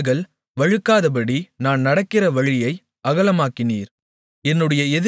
என்னுடைய கால்கள் வழுக்காதபடி நான் நடக்கிற வழியை அகலமாக்கினீர்